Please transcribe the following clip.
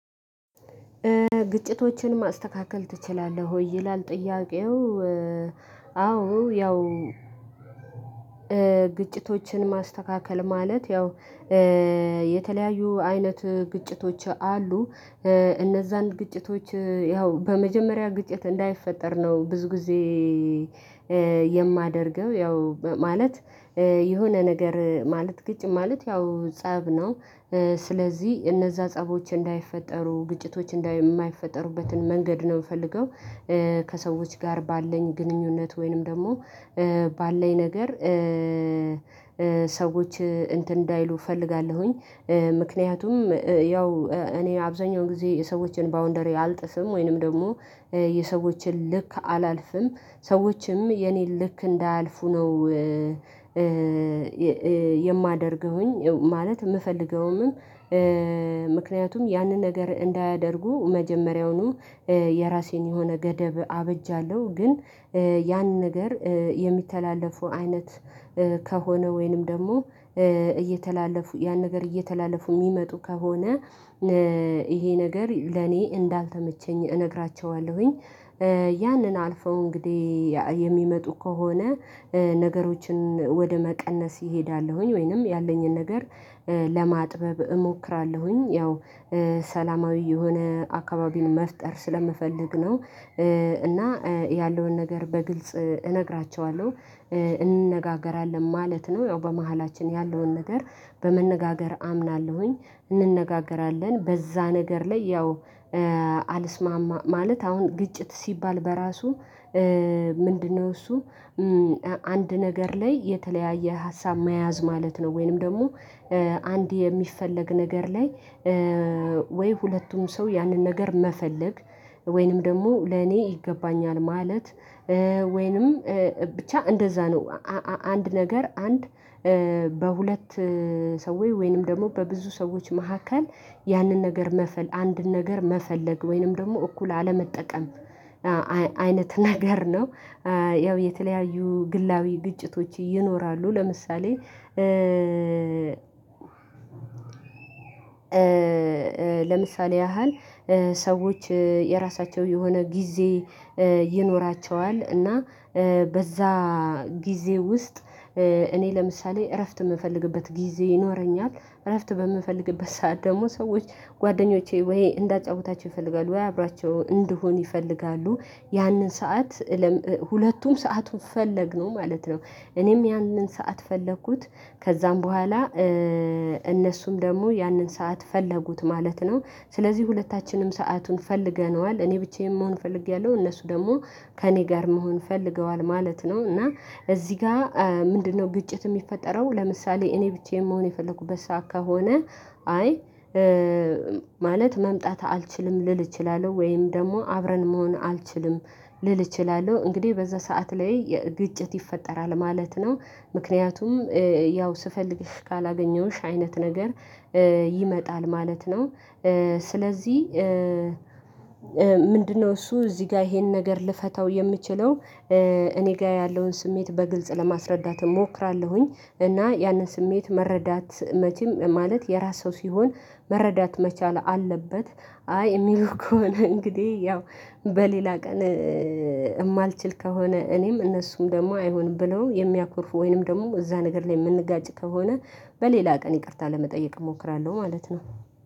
ግጭቶችን ማስተካከል ትችላለህ ሆይ ይላል ጥያቄው። አዎ ያው ግጭቶችን ማስተካከል ማለት ያው የተለያዩ አይነት ግጭቶች አሉ። እነዛን ግጭቶች ያው በመጀመሪያ ግጭት እንዳይፈጠር ነው ብዙ ጊዜ። የማደርገው ያው ማለት የሆነ ነገር ማለት ግጭት ማለት ያው ፀብ ነው። ስለዚህ እነዛ ፀቦች እንዳይፈጠሩ ግጭቶች እንዳ ማይፈጠሩበትን መንገድ ነው የምፈልገው። ከሰዎች ጋር ባለኝ ግንኙነት ወይንም ደግሞ ባለኝ ነገር ሰዎች እንትን እንዳይሉ እፈልጋለሁኝ። ምክንያቱም ያው እኔ አብዛኛውን ጊዜ የሰዎችን ባውንደሪ አልጥፍም ወይንም ደግሞ የሰዎችን ልክ አላልፍም ሰዎችም የኔን ልክ እንዳያልፉ ነው። የማደርገውኝ ማለት የምፈልገውንም ምክንያቱም ያንን ነገር እንዳያደርጉ መጀመሪያውኑ የራሴን የሆነ ገደብ አበጃለሁ። ግን ያን ነገር የሚተላለፉ አይነት ከሆነ ወይንም ደግሞ እየተላለፉ ያን ነገር እየተላለፉ የሚመጡ ከሆነ ይሄ ነገር ለኔ እንዳልተመቸኝ እነግራቸዋለሁኝ። ያንን አልፈው እንግዲህ የሚመጡ ከሆነ ነገሮችን ወደ መቀነስ እሄዳለሁኝ ወይንም ያለኝን ነገር ለማጥበብ እሞክራለሁኝ። ያው ሰላማዊ የሆነ አካባቢን መፍጠር ስለምፈልግ ነው። እና ያለውን ነገር በግልጽ እነግራቸዋለሁ እንነጋገራለን ማለት ነው። ያው በመሃላችን ያለውን ነገር በመነጋገር አምናለሁኝ እንነጋገራለን በዛ ነገር ላይ ያው። አልስማማ ማለት አሁን ግጭት ሲባል በራሱ ምንድነው እሱ? አንድ ነገር ላይ የተለያየ ሀሳብ መያዝ ማለት ነው። ወይንም ደግሞ አንድ የሚፈለግ ነገር ላይ ወይ ሁለቱም ሰው ያንን ነገር መፈለግ ወይንም ደግሞ ለኔ ይገባኛል ማለት ወይንም ብቻ እንደዛ ነው። አ አንድ ነገር አንድ በሁለት ሰዎች ወይንም ደግሞ በብዙ ሰዎች መካከል ያንን ነገር መፈል አንድን ነገር መፈለግ ወይንም ደግሞ እኩል አለመጠቀም አወ አይነት ነገር ነው። ያው የተለያዩ ግላዊ ግጭቶች ይኖራሉ። ለምሳሌ ለምሳሌ ያህል ሰዎች የራሳቸው የሆነ ጊዜ ይኖራቸዋል እና በዛ ጊዜ ውስጥ እኔ ለምሳሌ እረፍት የምፈልግበት ጊዜ ይኖረኛል። እረፍት በምፈልግበት ሰዓት ደግሞ ሰዎች ጓደኞቼ ወይ እንዳጫውታቸው ይፈልጋሉ ወይ አብሪያቸው እንድሆን ይፈልጋሉ። ያንን ሰዓት ሁለቱም ሰአቱን ፈለግነው ማለት ነው። እኔም ያንን ሰዓት ፈለኩት። ከዛም በኋላ እነሱም ደግሞ ያንን ሰዓት ፈለጉት ማለት ነው። ስለዚህ ሁለታችንም ሰአቱን ፈልገነዋል እኔ ብቻዬን መሆን ፈልጌያለሁ እነሱ ደግሞ ከእኔ ጋር መሆን ፈልገዋል ማለት ነው። እና እዚህ ጋር ምንድነው ግጭት የሚፈጠረው? ለምሳሌ እኔ ብቻዬን መሆን የፈለኩበት ሰዓት ከሆነ አይ ማለት መምጣት አልችልም ልል እችላለሁ ወይም ደግሞ አብረን መሆን አልችልም ልል እችላለሁ እንግዲህ በዛ ሰዓት ላይ ግጭት ይፈጠራል ማለት ነው። ምክንያቱም ያው ስፈልግሽ ካላገኘሁሽ አይነት ነገር ይመጣል ማለት ነው። ስለዚህ ምንድነው እሱ እዚህ ጋር ይሄን ነገር ልፈታው የምችለው? እኔ ጋር ያለውን ስሜት በግልጽ ለማስረዳት እሞክራለሁኝ። እና ያንን ስሜት መረዳት መቼም ማለት የራስ ሰው ሲሆን መረዳት መቻል አለበት። አይ የሚሉ ከሆነ እንግዲህ ያው በሌላ ቀን የማልችል ከሆነ እኔም እነሱም ደግሞ አይሆንም ብለው የሚያኮርፉ ወይንም ደግሞ እዛ ነገር ላይ የምንጋጭ ከሆነ በሌላ ቀን ይቅርታ ለመጠየቅ እሞክራለሁ ማለት ነው።